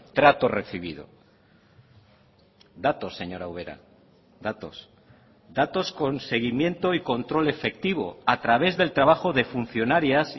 trato recibido datos señora ubera datos datos con seguimiento y control efectivo a través del trabajo de funcionarias